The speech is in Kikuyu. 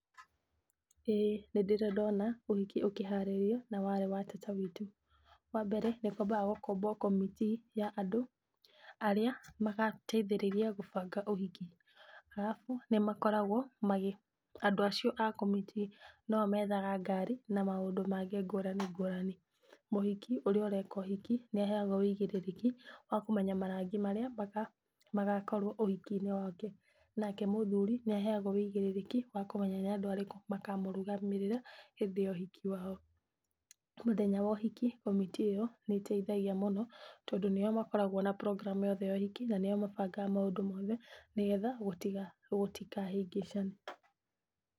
ĩĩ nĩ ndĩrĩ ndona ũhiki ukĩharirio na warĩ wa tata witũ. Wa mbere nĩ kwambaga kũmbwo commitee ya andũ arĩa magateithĩriria gũbanga ũhiki. Arabu, nĩ makoragwo andũ acio a commitee no o methaga ngari na maũndũ mangĩ ngũrani ngurani. Mũhiki ũrĩa ũreka ũhiki nĩ aheagwo ũigĩrĩrĩki wa kũmenya marangi maria magakorwo ũhiki-inĩ wake. Nake mũthuri nĩ aheagwo wũigirĩrĩki wa kũmenya nĩ andũ arĩkũ makamũrũgamĩrira hĩndĩ ya ũhiki wao. Mũthenya wa ũhiki commitee ĩyo nĩ ĩteithagia mũno, tondũ nĩo makoragwo na program yothe ya ũhiki na nio mabangaga maũndũ mothe, nĩ getha gũtikahĩngĩcane.